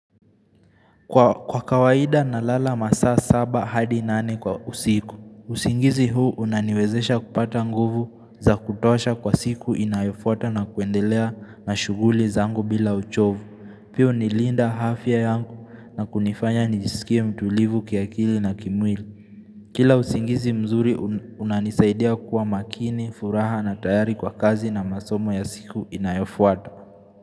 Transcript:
Kwa kawaida nalala masaa saba hadi nane kwa usiku. Usingizi huu unaniwezesha kupata nguvu za kutosha kwa siku inayofuata na kuendelea na shuguli zangu bila uchovu. Pia hunilinda afya yangu na kunifanya nijisikie mtulivu kiakili na kimwili. Kila usingizi mzuri unanisaidia kuwa makini, furaha na tayari kwa kazi na masomo ya siku inayofuata.